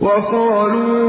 وَقَالُوا